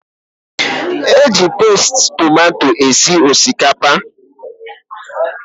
Eji pasti tomato esi osikapa